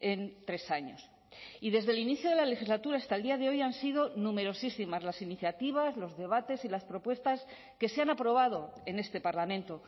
en tres años y desde el inicio de la legislatura hasta el día de hoy han sido numerosísimas las iniciativas los debates y las propuestas que se han aprobado en este parlamento